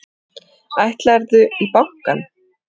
Ætlarðu í bankann?